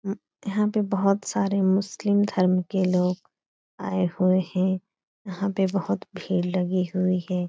यहाँ पे बोहोत सारे मुस्लिम धर्म के लोग आए हुए हैं। यहाँ पे बोहोत भीड़ लगी हुई है।